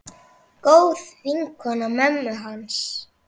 Góð vinkona mömmu hans.